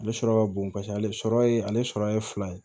Ale sɔrɔ ka bon paseke ale sɔrɔ ye ale sɔrɔ ye fila ye